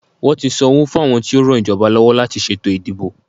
Wọ́n ti san owó fún àwọn tí ó ran ìjọba lọ́wọ́ láti ṣètò ìdìbò.